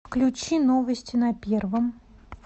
включи новости на первом